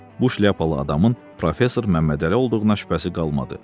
Bu şlyapalı adamın professor Məmmədəli olduğuna şübhəsi qalmadı.